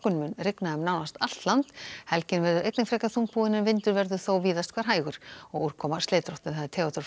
mun rigna um nánast allt land helgin verður einnig frekar þungbúin en vindur verður þó víðast hvar hægur og úrkoma slitrótt Theodór Freyr